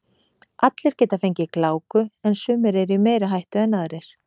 Allir geta fengið gláku en sumir eru í meiri hættu en aðrir.